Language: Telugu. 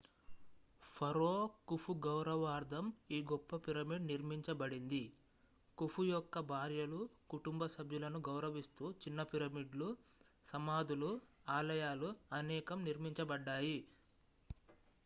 ఫరో ఖుఫుగౌరవార్థం ఈ గొప్ప పిరమిడ్ నిర్మించబడింది ఖుఫు యొక్క భార్యలు కుటుంబ సభ్యులను గౌరవిస్తూ చిన్న పిరమిడ్లు సమాధులు ఆలయాలు అనేకం నిర్మించబడ్డాయి